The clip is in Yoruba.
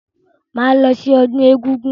Máa lọ sí ọdún egúngún.